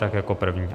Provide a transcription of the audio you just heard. Tak jako první.